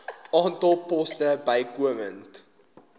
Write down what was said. aantal poste bykomend